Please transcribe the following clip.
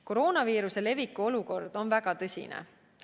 Koroonaviiruse leviku olukord on väga tõsine.